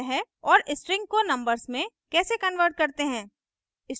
और strings को numbers में कैसे convert करते हैं